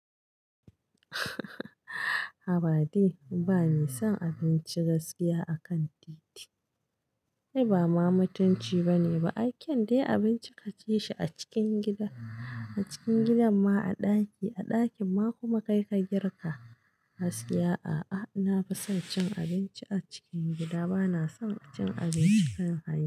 Habade bani son abinci gaskiya akan titi. Ni ba ma mutunci bane ba, a kyan dai abinci ka ci shi a cikin gida, a cikin gidan ma a ɗaki, a ɗakin ma kuma kai ka girka. Gaskiya a'a, na fi son cin abinci a cikin gida, bana son cin abinci kan hanya.